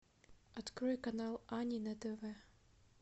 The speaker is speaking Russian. открой канал ани на тв